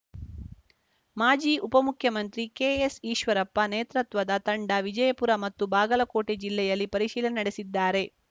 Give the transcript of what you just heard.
ಮಾಜಿ ಉಪಮುಖ್ಯಮಂತ್ರಿ ಕೆಎಸ್‌ಈಶ್ವರಪ್ಪ ನೇತೃತ್ವದ ತಂಡ ವಿಜಯಪುರ ಮತ್ತು ಬಾಗಲಕೋಟೆ ಜಿಲ್ಲೆಯಲ್ಲಿ ಪರಿಶೀಲನೆ ನಡೆಸಿದ್ದಾರೆ